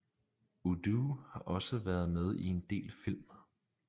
Udo har også været med i en del film